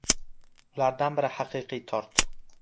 Ulardan biri haqiqiy tort.